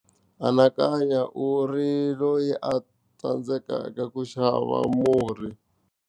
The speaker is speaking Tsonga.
Anakanya u ri loyi a tsandzekaka ku xava murhi.